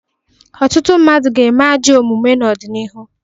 Ọtụtụ mmadụ ga-eme ajọ omume n'ọdịnihu.